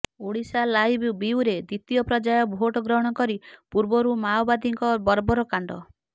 Odisha live bureau ଦ୍ୱିତୀୟ ପର୍ଯ୍ୟାୟ vote ଗ୍ରହଣ କରିବା ପୂର୍ବରୁ ମାଓବାଦୀଙ୍କ ବର୍ବରକାଣ୍ଡ